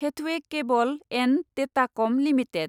Hathway cable and Datacom limited